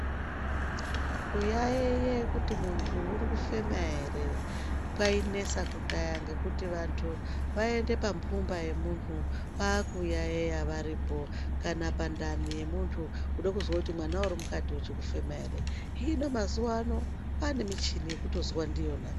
Kuyaiye kuti muntu uri kufema ere kwainesa kudhaya ngekuti vantu vaiende pampumba yemuntu kwakuyaiya varipo kana pandani yemuntu kude kuzwa kuti mwana uri mukati uchikufema ere hino mazuwa ano kwaane michini yekutozwa ndiyona.